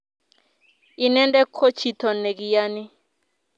Inendet ko chito ne kiyani